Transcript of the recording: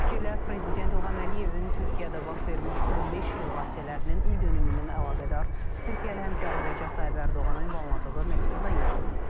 Bu fikirlər Prezident İlham Əliyevin Türkiyədə baş vermiş 15 iyul hadisələrinin ildönümünə əlaqədar Türkiyəli həmkarı Rəcəb Tayyib Ərdoğana ünvanladığı məktubda yer alıb.